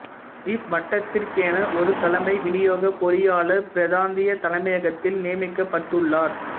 இவ்வட்டத்திற்கென ஒரு தலைமை விநியோகப் பொறியாளர் பிராந்திய தலைமையகத்தில் நியமிக்கப்பட்டுள்ளார்